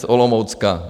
Z Olomoucka.